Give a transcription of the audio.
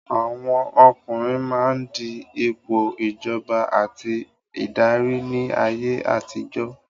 Àwọn ọkùnrin máa ń di ipò ìjọba àti ìdarí ní ayé àtijọ́.